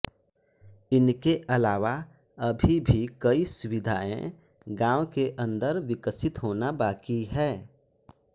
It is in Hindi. इनके अलावा अभी भी कई सुविधाये गांव के अंदर विकसित होना बाकी हैं